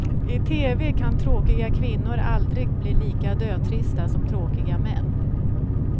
I tv kan tråkiga kvinnor aldrig bli lika dötrista som tråkiga män.